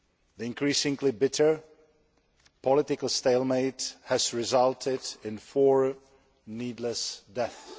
The increasingly bitter political stalemate has resulted in four needless deaths.